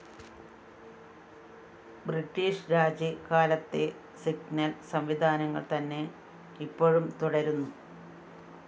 British Raj കാലത്തെ signal സംവിധാനങ്ങൾ തന്നെ ഇപ്പോഴും തുടരുന്നു